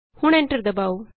ਹੁਣ ਐਂਟਰ ਦਬਾਉ